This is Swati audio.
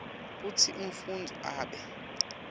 kutsi umfundzi abe